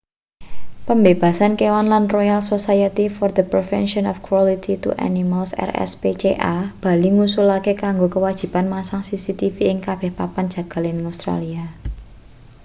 pembebasan kewan lan royal society for the prevention of cruelty to animals rspca bali ngusulake kanggo kewajiban masang cctv ing kabeh papan jagal ing australia